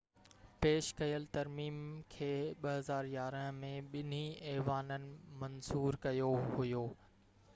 پيش ڪيل ترميم کي 2011 ۾ ٻنهي ايوانن منظور ڪيو هيو